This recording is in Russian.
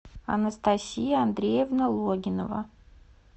анастасия андреевна логинова